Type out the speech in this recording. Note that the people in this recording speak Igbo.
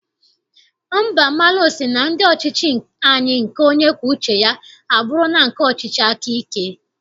Mbamalu sị na ndị ọchịchị anyị nke onye kwuo uche ya, abụrụla nke ọchịchị aka ike.